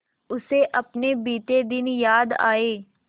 उसे अपने बीते दिन याद आए